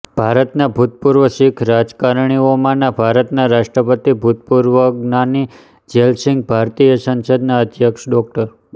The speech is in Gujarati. ભારતના ભૂતપૂર્વ શીખ રાજકારણીઓમાં ભારતના રાષ્ટ્રપતિ ભૂતપૂર્વજ્ઞાની ઝૈલ સિંઘ ભારતીય સંસદના અધ્યક્ષ ડો